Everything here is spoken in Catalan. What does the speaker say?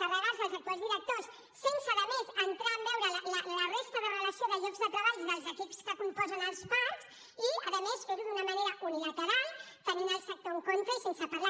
carregar se els actuals directors sense a més entrar a veure la resta de relació de llocs de treball dels equips que componen que els parcs i a més fer ho d’una manera unilateral tenint el sector en contra i sense parlar